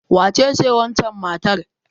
Wacece wancan matar?